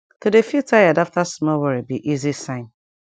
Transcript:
to de feel tired after small worry be easy sign